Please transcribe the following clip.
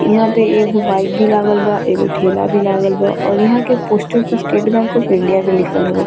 इहाँ पे एगो बाइक भी लागल बा एगो ठेला भी लागल बा और इहाँ के पोस्टर पे स्टेट बैंक ऑफ़ इंडिया भी लिखल हवे।